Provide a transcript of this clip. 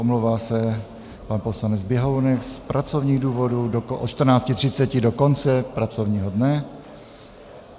Omlouvá se pan poslanec Běhounek z pracovních důvodů od 14.30 do konce pracovního dne.